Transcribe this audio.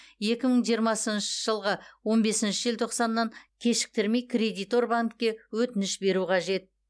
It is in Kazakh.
екі мың жиырмасыншы жылғы он бесінші желтоқсаннан кешіктірмей кредитор банкке өтініш беру қажет